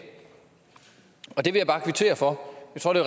og det vil jeg bare kvittere for jeg tror det